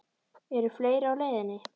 Eru fleiri á leiðinni?